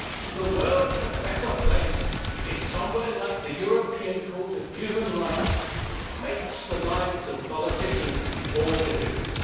The world is a better place if somewhere like the European Court of Human Rights makes the lives of politicians more difficult.